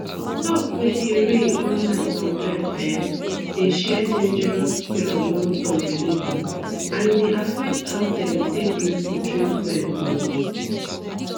talks wey dey reign online sometimes um dey share dangerous cure among some believers and e dey affect how dem take gree for treatment um